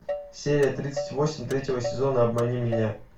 серия тридцать восемь третьего сезона обмани меня